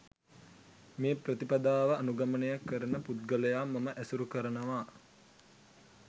මේ ප්‍රතිපදාව අනුගමනය කරන පුද්ගලයා මම ඇසුරු කරනවා.